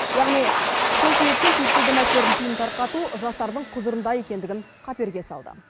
яғни сол себептен түйіткілді мәселелердің түйінін тарқату жастардың құзырында екенін қаперге салды